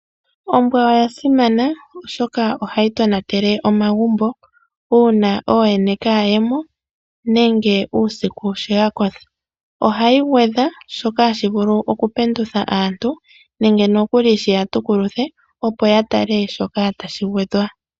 Ombwa oya simana mokugamena omagumbo uuna ooyene yalyo kayemo nenge yakotha ohayi gwedha shoka hashi vulu shiya pendulemo nenge shiya tukuluthe Opo yatale shoka tashi gwedhwa.